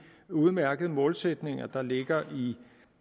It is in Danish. udmærkede målsætninger der ligger